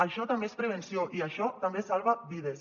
això també és prevenció i això també salva vides